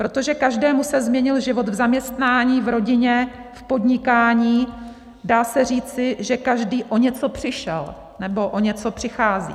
Protože každému se změnil život v zaměstnání, v rodině, v podnikání, dá se říci, že každý o něco přišel nebo o něco přichází.